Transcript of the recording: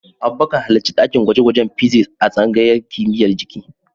Abubakar, halarci dakin gwaje-gwajen Physics a tsangayar kimiyyar jiki.